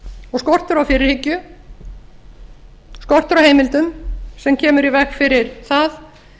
og skortur á fyrirhyggju skortur á heimildum sem kemur í veg fyrir það